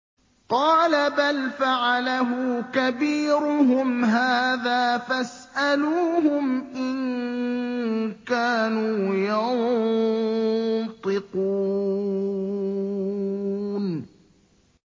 قَالَ بَلْ فَعَلَهُ كَبِيرُهُمْ هَٰذَا فَاسْأَلُوهُمْ إِن كَانُوا يَنطِقُونَ